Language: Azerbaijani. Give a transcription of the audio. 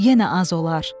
Yenə az olar.